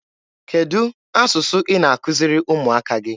Kedụ asụsụ ị na-akuziri ụmụaka gị?